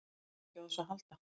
Hann þarf ekki á þessu að halda.